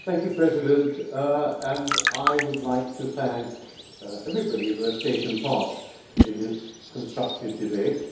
Mr President, I would like to thank everybody who has taken part in this constructive debate.